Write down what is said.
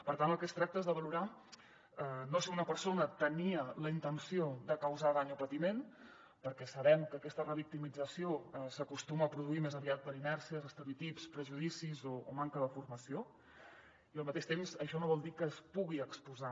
per tant del que es tracta és de valorar no si una persona tenia la intenció de causar dany o patiment perquè sabem que aquesta revictimització s’acostuma a produir més aviat per inèrcies estereotips prejudicis o manca de formació i al mateix temps això no vol dir que es pugui exposar